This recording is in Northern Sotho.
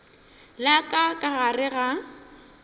la ka ka gore ga